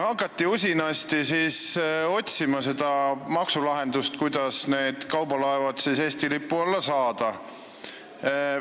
Hakati usinasti otsima maksulahendust, kuidas need kaubalaevad siis Eesti lipu alla saada.